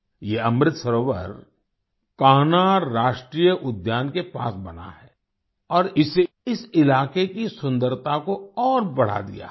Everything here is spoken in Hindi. ये अमृत सरोवर कान्हा राष्ट्रीय उद्यान के पास बना है और इससे इस इलाके की सुन्दरता को और बढ़ा दिया है